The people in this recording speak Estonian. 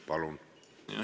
Palun!